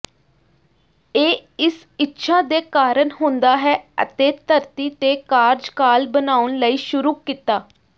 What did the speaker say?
ਇਹ ਇਸ ਇੱਛਾ ਦੇ ਕਾਰਨ ਹੁੰਦਾ ਹੈ ਅਤੇ ਧਰਤੀ ਤੇ ਕਾਰਜਕਾਲ ਬਣਾਉਣ ਲਈ ਸ਼ੁਰੂ ਕੀਤਾ